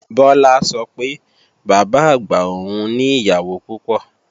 Bọlá sọ pé Bàbá-àgbà òun ni ìyàwó púpọ̀